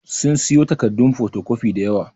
Sun siyo takaddun fotocopi da yawa.